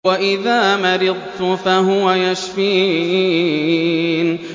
وَإِذَا مَرِضْتُ فَهُوَ يَشْفِينِ